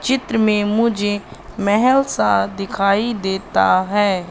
चित्र में मुझे महल सा दिखाई देता है।